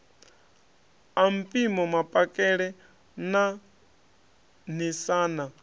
a mpimo mapakele na ṋaṋisana